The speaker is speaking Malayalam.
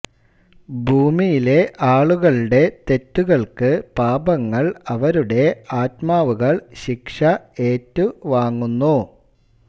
ഭൂമിയിലെ ആളുകളുടെ തെറ്റുകൾക്ക് പാപങ്ങൾ അവരുടെ ആത്മാവുകൾ ശിക്ഷ എറ്റു വാങ്ങുന്നു